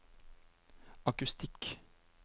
akustikk